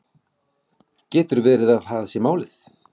Getur verið að það sé málið